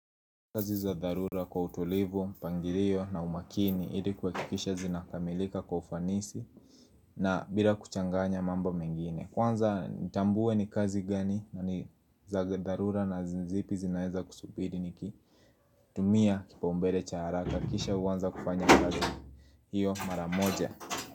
Kazi za dharura kwa utulivu, mpangikio na umakini ili kuhakikisha zinakamilika kwa ufanisi na bila kuchanganya mambo mengine Kwanza nitambue ni kazi gani na ni za dharura na ni zipi zinaeza kusubiri niki tumia kipaumbele cha haraka Kisha uanza kufanya kazi hiyo mara moja.